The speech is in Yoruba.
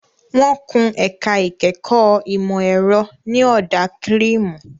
Wọ́n kun ẹ̀ka ìkẹ́kọ̀ọ́ ìmọ̀ ẹ̀rọ ní ọ̀dà kírìmù.